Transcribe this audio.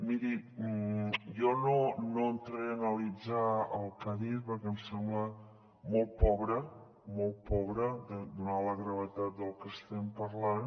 miri jo no entraré a analitzar el que ha dit perquè em sembla molt pobre donada la gravetat del que estem parlant